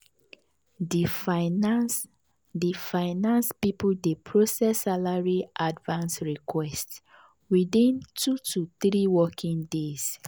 di finance di finance people dey process salary advance request within 2 to 3 working days.